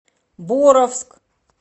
боровск